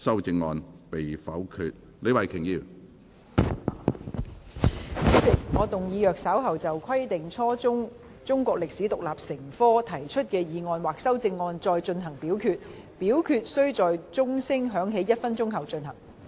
主席，我動議若稍後就"規定初中中國歷史獨立成科"所提出的議案或修正案再進行點名表決，表決須在鐘聲響起1分鐘後進行。